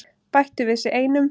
Bættu við sig einum.